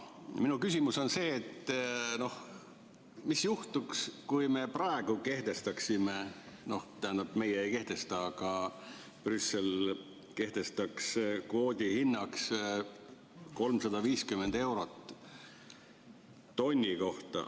Minu küsimus on see, et mis juhtuks, kui me praegu kehtestaksime – tähendab, meie ei kehtesta, aga Brüssel kehtestaks kvoodi hinnaks 350 eurot tonni kohta.